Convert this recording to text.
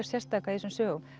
sérstaka í þessum sögum